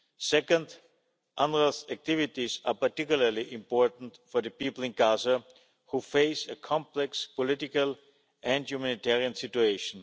Second, UNRWA's activities are particularly important for the people in Gaza who face a complex political and humanitarian situation.